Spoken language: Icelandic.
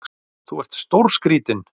Þú ert stórskrítinn!